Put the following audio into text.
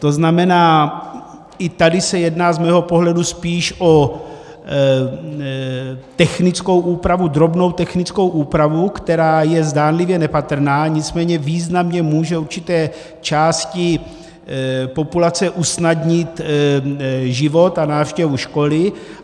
To znamená, i tady se jedná z mého pohledu spíše o technickou úpravu, drobnou technickou úpravu, která je zdánlivě nepatrná, nicméně významně může určité části populace usnadnit život a návštěvu školy.